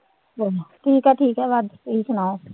ਠੀਕ ਹੈ ਠੀਕ ਹੈ ਬਸ ਤੁਸੀਂ ਸੁਣਾਓ।